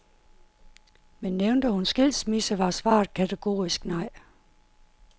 Men nævnte hun skilsmisse, var svaret kategorisk nej.